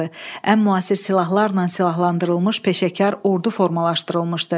Ən müasir silahlarla silahlandırılmış peşəkar ordu formalaşdırılmışdı.